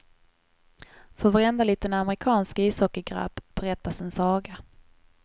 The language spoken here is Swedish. För varenda liten amerikansk ishockeygrabb berättas en saga.